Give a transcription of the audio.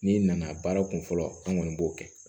N'i nana baara kun fɔlɔ an kɔni b'o kɛ